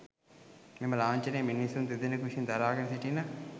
මෙම ලාංඡනය මිනිසුන් දෙදෙනකු විසින් දරාගෙන සිටින